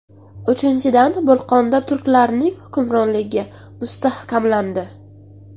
Uchinchidan, Bolqonda turklarning hukmronligi mustahkamlandi.